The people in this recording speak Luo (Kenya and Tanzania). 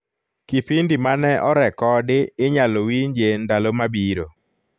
kipindi mane orekodi inyalo winje ndalo mabirro